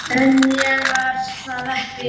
En ég var það ekki.